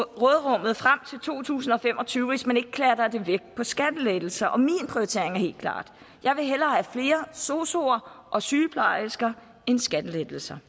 råderummet frem til to tusind og fem og tyve hvis man ikke klatter dem væk på skattelettelser og min prioritering er helt klar jeg vil hellere have flere sosuere og sygeplejersker end skattelettelser